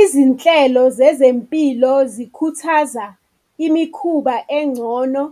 Izinhlelo zezempilo zikhuthaza imikhuba engcono